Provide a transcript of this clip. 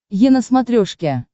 е на смотрешке